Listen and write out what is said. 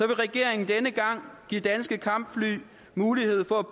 vil regeringen denne gang give danske kampfly mulighed for at